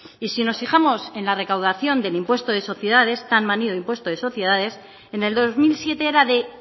y si nos fijamos de la recaudación del impuesto de sociedades tan manido impuesto de sociedades en el dos mil siete era de